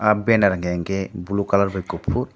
aww banner unkke ke blue colour by kufur.